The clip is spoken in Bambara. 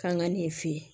Kan ka nin fɛ yen